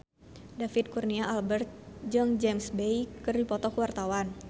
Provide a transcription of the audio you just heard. David Kurnia Albert jeung James Bay keur dipoto ku wartawan